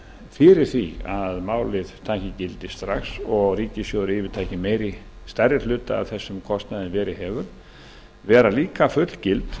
fyrir því að málið taki gildi strax og ríkissjóður yfirtaki stærri hluta af þessum kostnaði en verið hefur vera líka fullgild